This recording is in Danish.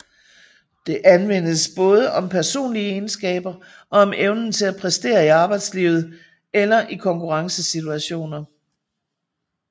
Det anvendes både om personlige egenskaber og om evnen til at præstere i arbejdslivet eller i konkurrencesituationer